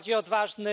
Bardziej odważny?